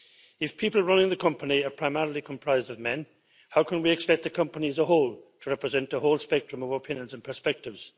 If people running the company are primarily comprised of men, how can we expect the company as a whole to represent the whole spectrum of opinions and perspectives?